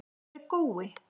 Hver er Gói?